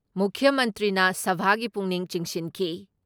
ꯃꯨꯈ꯭ꯌ ꯃꯟꯇ꯭ꯔꯤꯅ ꯁꯚꯥꯒꯤ ꯄꯨꯛꯅꯤꯡ ꯆꯤꯡꯁꯤꯟꯈꯤ ꯫